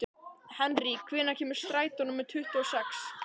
Henrý, hvenær kemur strætó númer tuttugu og sex?